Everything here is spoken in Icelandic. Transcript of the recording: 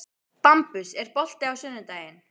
Bambus, er bolti á sunnudaginn?